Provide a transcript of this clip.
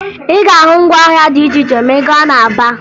Ị ga-ahụ ngwaahịa dị iche iche ma ị gaa na Aba